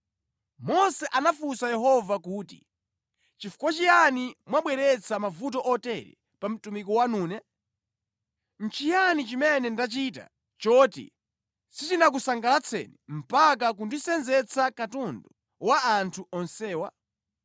Mose anafunsa Yehova kuti, “Chifukwa chiyani mwabweretsa mavuto otere pa mtumiki wanune? Nʼchiyani chimene ndachita choti sichinakusangalatseni mpaka kundisenzetsa katundu wa anthu onsewa?